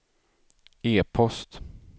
e-post